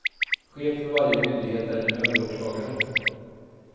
Chef för varje myndighet är en överåklagare.